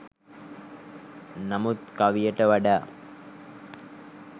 නමුත් කවියට වඩා